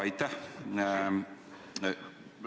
Aitäh!